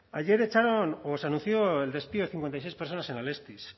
ayer se anunció el despido de cincuenta y seis personas en alestis